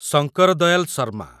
Shankar Dayal Sharma